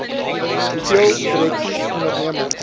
hoeveel direksies ondernemings